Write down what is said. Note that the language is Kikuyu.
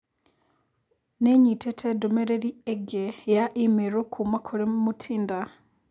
Nĩ nyitĩte ndũmĩrĩri ĩngĩ ya i-mīrū kuuma kũrĩ Mutinda?